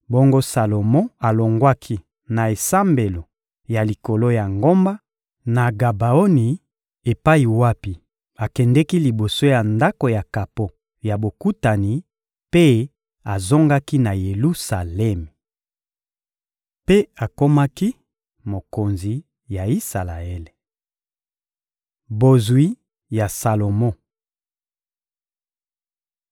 Bongo Salomo alongwaki na esambelo ya likolo ya ngomba, na Gabaoni epai wapi akendeki liboso ya Ndako ya kapo ya Bokutani, mpe azongaki na Yelusalemi. Mpe akomaki mokonzi ya Isalaele. Bozwi ya Salomo (1Ba 10.26-29; 2Ma 9.25-28)